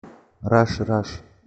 раш раш